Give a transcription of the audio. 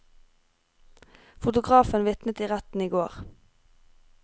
Fotografen vitnet i retten i går.